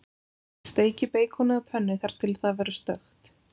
Steikið beikonið á pönnu þar til það verður stökkt.